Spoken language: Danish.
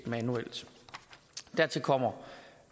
manuelt dertil kommer